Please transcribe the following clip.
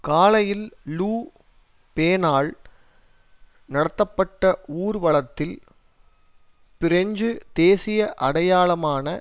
காலையில் லு பெனால் நடத்தப்பட்ட ஊர்வலத்தில் பிரெஞ்சு தேசிய அடையாளமான